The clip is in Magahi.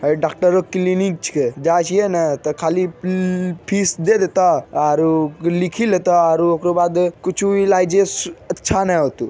अ डॉक्टर के क्लिनिक छे जाय छिये ने ते खाली फीस दे देता आरों लिखी लेता आरों ओकरा बाद कुछू इलाजों ने अच्छा ने होता।